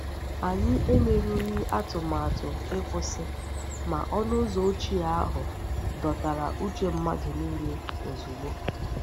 Anyị emerughị atụmatụ ịkwụsị, ma ọnụ ụzọ ochie ahụ dọtara uche mmadụ nile ozugbo.